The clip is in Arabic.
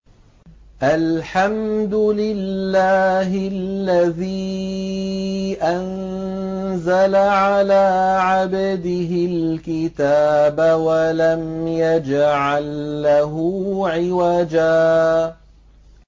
الْحَمْدُ لِلَّهِ الَّذِي أَنزَلَ عَلَىٰ عَبْدِهِ الْكِتَابَ وَلَمْ يَجْعَل لَّهُ عِوَجًا ۜ